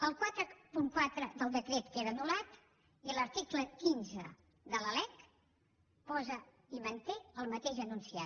el quaranta quatre del decret queda anul·lat i l’article quinze de la lec posa i manté el mateix enunciat